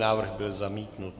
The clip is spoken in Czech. Návrh byl zamítnut.